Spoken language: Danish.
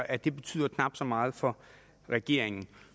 at det betyder knap så meget for regeringen